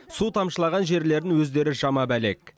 су тамшылаған жерлерін өздері жамап әлек